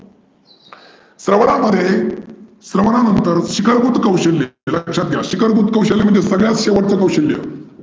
स्रवनामध्ये स्रवनानंतर शिकरभुत कौशल्य लक्षात घ्या शिकरभुत कौशल्य म्हणजे सगळ्यात मोठ कौशल्य.